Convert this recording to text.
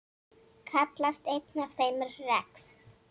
Kallast einn af þeim rex.